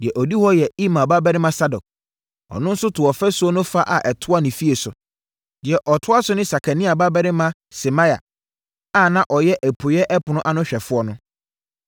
Deɛ ɔdi hɔ yɛ Imer babarima Sadok, ɔno nso too ɔfasuo no fa a ɛtoa ne fie so. Deɛ ɔtoa so ne Sekania babarima Semaia a na ɔyɛ apueeɛ ɛpono ano hwɛfoɔ no.